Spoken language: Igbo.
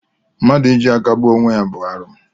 Mmadụ iji aka gbuo onwe ya bụ arụ